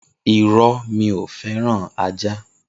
Iro, mi o feran àjá